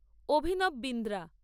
Abhinav Bindra